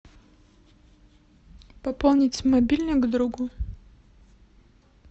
пополнить мобильник другу